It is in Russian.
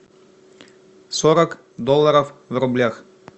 сорок долларов в рублях